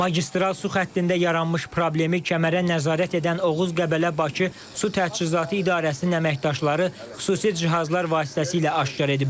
Magistral su xəttində yaranmış problemi kəmərə nəzarət edən Oğuz Qəbələ Bakı Su Təchizatı İdarəsinin əməkdaşları xüsusi cihazlar vasitəsilə aşkar ediblər.